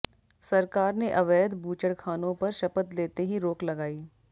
सरकार ने अवैध बूचड़खानों पर शपथ लेते ही रोक लगाई